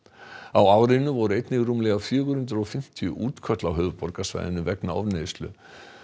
á árinu voru einnig rúmlega fjögur hundruð og fimmtíu útköll á höfuðborgarsvæðinu vegna ofneyslu